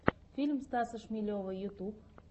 фильм стаса шмелева ютюб